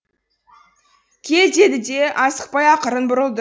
кел деді де асықпай ақырын бұрылды